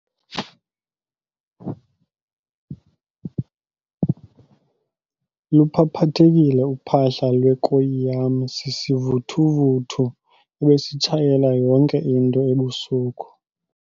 Luphaphathekile uphahla lwekoyi yam sisivuthuvuthu ebesitshayela yonke into ebusuku.